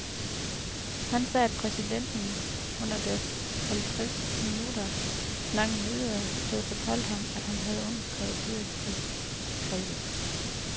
Han sagde, at præsidenten under deres halvtreds minutter lange møde havde fortalt ham, at han havde underskrevet fyringsdekretet.